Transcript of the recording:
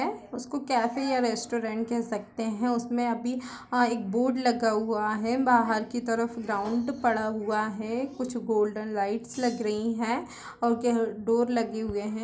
--उसको कैफ़े या रेस्टोरेंट कह सकते हैं उसमे अभी अ- एक बोर्ड लगा हुआ है बहार की तरफ़ गाउंट पड़ा हुआ है कुछ गोल्डन लाइट्स लग री है और डोर लगे हुए हैं।